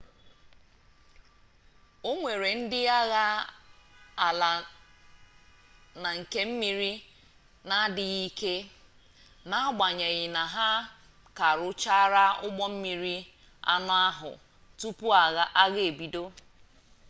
o nwere ndị agha ala na nke mmiri n'adịghị ike n'agbanyeghi na ha ka rụchara ụgbọmmiri anọ ọhụụ tupu agha ebido